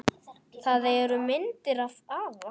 Það eru myndir af afa